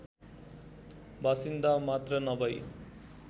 बासिन्दा मात्रै नभई